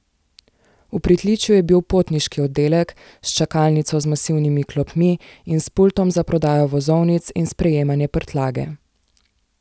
V pritličju je bil potniški oddelek, s čakalnico z masivnimi klopmi in s pultom za prodajo vozovnic in sprejemanje prtljage.